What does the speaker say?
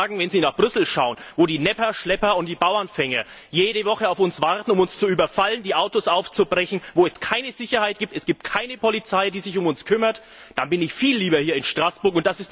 Aber ich muss sagen Wenn ich nach Brüssel schaue, wo die Nepper, Schlepper und die Bauernfänger jede Woche auf uns warten, um uns zu überfallen, die Autos aufzubrechen, wo es keine Sicherheit gibt, wo es keine Polizei gibt, die sich um uns kümmert, dann bin ich viel lieber hier in Straßburg.